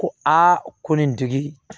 Ko a ko nin tigi